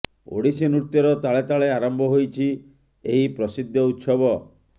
ଓଡ଼ିଶୀ ନୃତ୍ୟର ତାଳେ ତାଳେ ଆରମ୍ଭ ହୋଇଛି ଏହି ପ୍ରସିଦ୍ଧ ଉତ୍ସବ